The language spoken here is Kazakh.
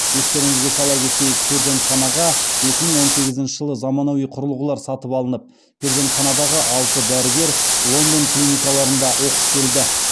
естеріңізге сала кетейік перзентханаға екі мың он сегізінші жылы заманауи құрылғылар сатып алынып перзентханадағы алты дәрігер лондон клиникаларында оқып келді